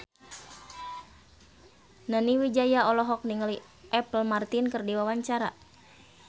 Nani Wijaya olohok ningali Apple Martin keur diwawancara